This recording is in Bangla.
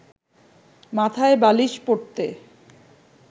মাথায় বালিশ পড়তে